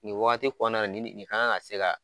Nin wagati kɔɔna na nin de nin kan ka se ka